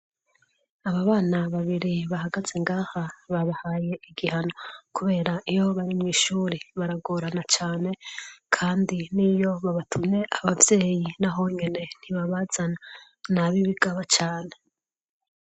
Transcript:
Aba bana babiri bahagaze ngaha babahaye igihano. Kubera iyo bari mw'ishuri baragorana cane, kandi n'iyo babatumye abavyeyi n'aho nyene ntibabazana. Ni ab'ibigaba cane.